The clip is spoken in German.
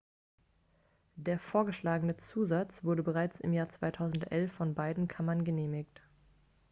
der vorgeschlagene zusatz wurde bereits im jahr 2011 von beiden kammern genehmigt